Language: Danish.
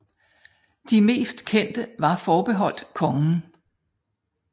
De mest kendte var forbeholdt kongen